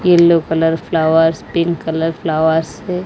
Yellow colour flowers pink colour flowers है।